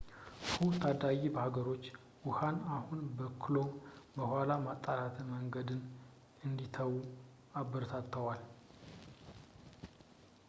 ሑ ታዳጊ ሀገሮች ውሀን አሁን በክሎ በኋላ የማጥራት መንገድን እንዲተዉ አበረታተዋል